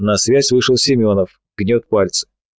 на связь вышел семёнов гнёт пальцы